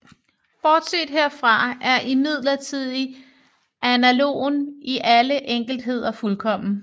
Bortset herfra er imidlertid analogien i alle enkeltheder fuldkommen